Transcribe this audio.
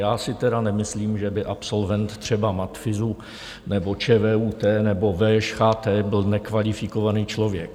Já si teda nemyslím, že by absolvent třeba matfyzu nebo ČVUT nebo VŠCHT byl nekvalifikovaný člověk.